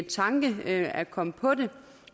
tanke at komme på